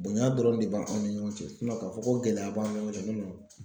Bonya dɔrɔn de b'anw ni ɲɔgɔn cɛ k'a fɔ ko gɛlɛya b'an ni ɲɔgɔn cɛ